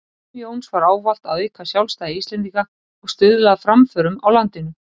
Markmið Jóns var ávallt að auka sjálfstæði Íslendinga og stuðla að framförum á landinu.